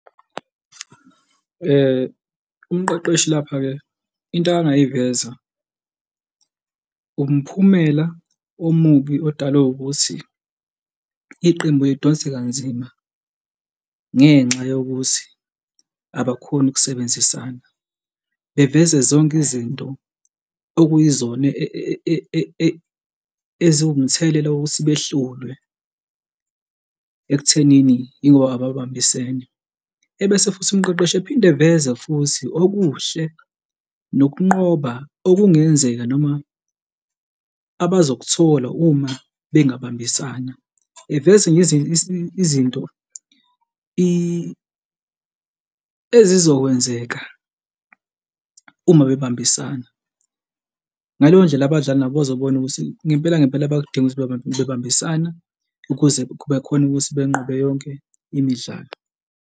Umqeqeshi lapha-ke into akangayiveza umphumela omubi odalwe ukuthi iqembu lidonse kanzima ngenxa yokuthi abakhoni ukusebenzisana, beveze zonke izinto okuyizona eziwumthelela wokuthi behlulwe ekuthenini yingoba ababambisene. Ebese futhi umqeqeshi ephinde eveze futhi okuhle nokunqoba okungenzeka noma abazokuthola uma bengabambisana. Eveze izizinto ezizokwenzeka uma bebambisana. Ngaleyo ndlela abadlali nabo bazobona ukuthi ngempela ngempela bayakudinga ukuthi bebambisana ukuze bekhone ukuthi benqobe yonke imidlalo.